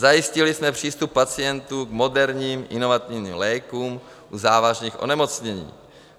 Zajistili jsme přístup pacientů k moderním inovativním lékům u závažných onemocnění.